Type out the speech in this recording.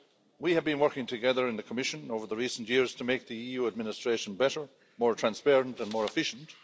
We have been working together in the Commission over recent years to make the EU administration better, more transparent and more efficient.